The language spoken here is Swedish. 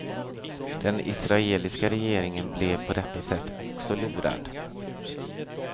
Den israeliska regeringen blev på detta sätt också lurad.